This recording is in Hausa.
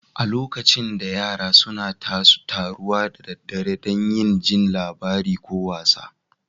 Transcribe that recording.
A lokacin da, yara suna taruwa da daddare dan yin jin labarai ko wasa.